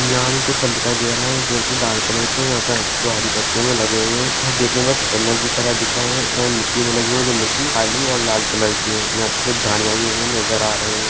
यहाँ हमें कुछ फल दिखाई दे रहा है जो की लाल कलर के है यहाँ पे जो हरी पत्तियों में लगे हुए है यह दखने में चुकंदर की तरह दिख रहे है ये मिट्टी में लगे हुए है जो मिट्टी काली और लाल कलर की है यहाँ पर झाड़ियाँ भी हमें नजर आ रही हैं।